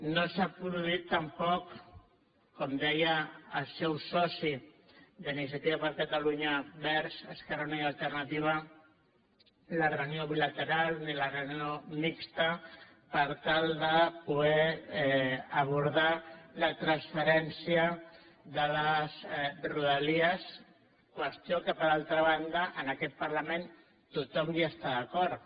no s’ha produït tampoc com deia el seu soci d’iniciativa per catalunya verds esquerra unida i alternativa ni la reunió bilateral ni la reunió mixta per tal de poder abordar la transferència de les rodalies qüestió que per altra banda en aquest parlament tothom hi està d’acord